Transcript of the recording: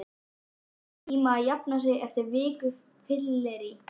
Það tekur sinn tíma að jafna sig eftir viku fyllerí